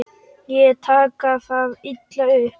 Ekki taka það illa upp.